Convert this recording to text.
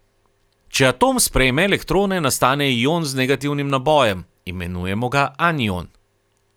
Če atom sprejme elektrone, nastane ion z negativnim nabojem, imenujemo ga anion.